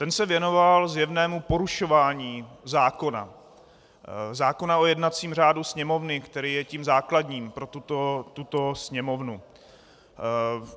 Ten se věnoval zjevnému porušování zákona, zákona o jednacím řádu Sněmovny, který je tím základním pro tuto Sněmovnu.